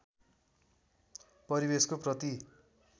परिवेशको प्रति